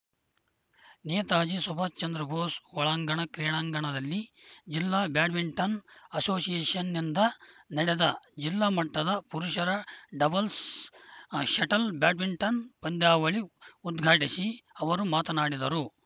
ನೇತಾಜಿ ಸುಭಾಶ್‌ ಚಂದ್ರ ಭೋಸ್‌ ಒಳಾಂಗಣ ಕ್ರೀಡಾಂಗಣದಲ್ಲಿ ಜಿಲ್ಲಾ ಬ್ಯಾಡ್ಮಿಂಟನ್‌ ಅಸೋಸಿಯೇಷನ್‌ನಿಂದ ನಡೆದ ಜಿಲ್ಲಾ ಮಟ್ಟದ ಪುರುಷರ ಡಬಲ್ಸ್‌ ಷಟಲ್‌ ಬ್ಯಾಡ್ಮಿಂಟನ್‌ ಪಂದ್ಯಾವಳಿ ಉದ್ಘಾಟಿಸಿ ಅವರು ಮಾತನಾಡಿದರು